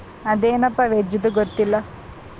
ಅದೇನಪ್ಪ veg ದು ಗೊತ್ತಿಲ್ಲ.